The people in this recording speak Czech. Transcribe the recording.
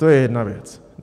To je jedna věc.